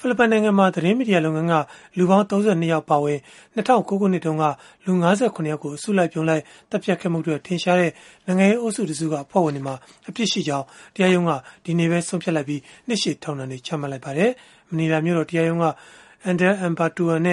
ိလစ်ပိုင်နိုင်ငံမှာ သတင်းမီဒီယာလုပ်ငန်းက လူပေါင်း ၃၂ ယောက် အပါအဝင် ၂၀၀၉ ခုနှစ်တုန်းက လူ ၅၇ ယောက်ကို အစုလိုက်အပြုံလိုက် သတ်ဖြတ်ခဲ့မှုအတွက် ထင်ရှားတဲ့ နိုင်ငံရေးအုပ်စုတစုက အဖွဲ့ဝင်တွေမှာ အပြစ်ရှိကြောင်း တရားရုံးက ဒီနေ့ပဲ ဆုံးဖြတ်လိုက်ပြီး နှစ်ရှည်ထောင်ဒဏ်တွေ ချမှတ်လိုက်ပါတယ်။ မနီလာမြို့တော် တရားရုံးက Andal Ampatuan